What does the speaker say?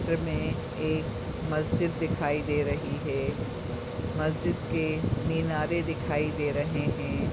चित्र मे एक मस्जिद दिखाई दे रही है। मस्जिद के मिनारे दिखाई दे रहे है।